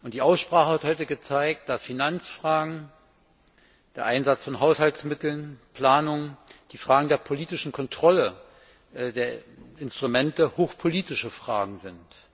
Die Aussprache heute hat gezeigt, dass Finanzfragen, der Einsatz von Haushaltsmitteln, Planung und die Frage der politischen Kontrolle der Instrumente hochpolitische Fragen sind.